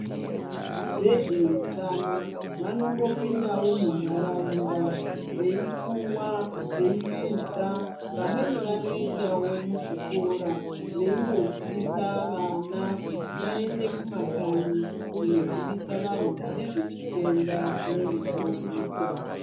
Vezveutano vanombopindavo muntaraunda veikuva, veikuza. Vamweni vanoendavo muzvikora veinozivisa vana kuti vaende kumakanyi kunozivisa vantu nezvechitenda chinenge chavanikwa.